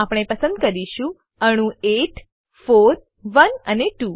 તો આપણે પસંદ કરીશું અણુ 8 41 અને 2